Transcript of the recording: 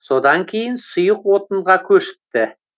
содан кейін сұйық отынға көшіпті